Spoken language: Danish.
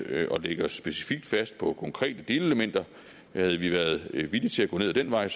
at lægge os specifikt fast på konkrete delelementer havde vi været villige til at gå ned ad den vej